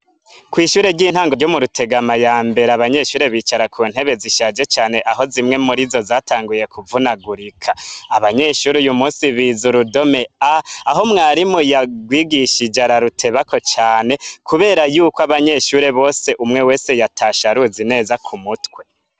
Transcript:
Kw'ishure ry'intango ryo mu Rutegama yambere abanyeshure bicara ku ntebe zishaje cane aho zimwe murizo zatanguye kuvunagurika, abanyeshure uyu munsi bize urudome A, aho mwarimu yagwigishije ararutebako cane, kubera yuko abanyeshure umwe wese yatashe aruzi neza k'umutwe.